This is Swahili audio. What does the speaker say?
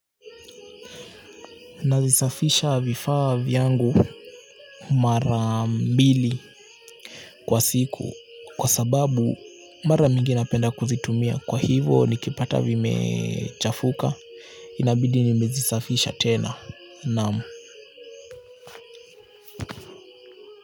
Nazisafisha vifaa vyangu mara mbili kwa siku kwa sababu mara mingi napenda kuzitumia kwa hivo nikipata vime chafuka inabidi nimezisafisha tena naam.